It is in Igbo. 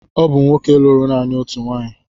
Ọ bụ nwoke lụrụ naanị otu nwaanyị.